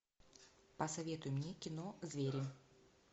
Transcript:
посоветуй мне кино звери